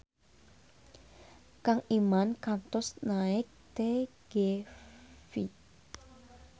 Kang Iman kantos naek TGV